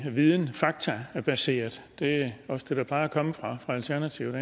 videns og faktabaseret det også det der plejer at komme fra alternativet